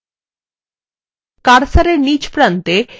এখন কার্সারটি কোনো একটি হাতলএর উপর আনুন